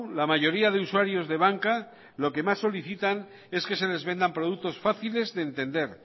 la mayoría de usuarios de banca lo que más solicitan es que se les vendan productos fáciles de entender